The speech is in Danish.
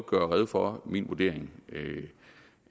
gøre rede for min vurdering